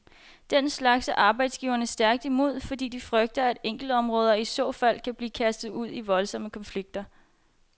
Den slags er arbejdsgiverne stærkt imod, fordi de frygter, at enkeltområder i så fald kan blive kastet ud i voldsomme konflikter.